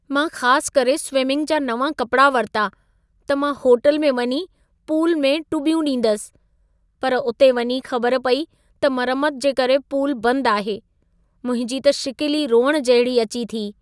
मां ख़ास करे स्विंमिंग जा नवां कपड़ा वरिता, त मां होटल में वञी पूल में टुॿ्यूं ॾींदसि, पर उते वञी ख़बर पेई त मरमत जे करे पूल बंद आहे। मुंहिंजी त शिकिल ई रोइण जहिड़ी अची थी।